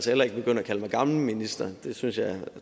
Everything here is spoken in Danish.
heller ikke begynde at kalde mig gammel minister det synes jeg